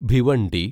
Bhiwandi